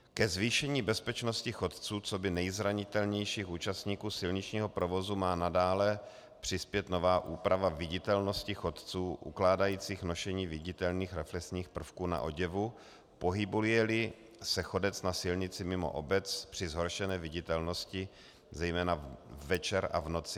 Ke zvýšení bezpečnosti chodců coby nejzranitelnějších účastníků silničního provozu má nadále přispět nová úprava viditelnosti chodců ukládající nošení viditelných reflexních prvků na oděvu, pohybuje-li se chodec na silnici mimo obec při zhoršené viditelnosti, zejména večer a v noci.